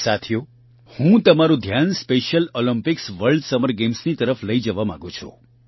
સાથીઓ હું તમારૂં ધ્યાન સ્પેશિયલ ઓલિમ્પિક્સ વર્લ્ડ સમર ગેમ્સની તરફ પણ લઇ જવા માંગું છું